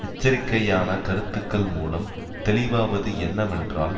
எச்சரிக்கையான கருத்துக்கள் மூலம் தெளிவாவது என்னவென்றால்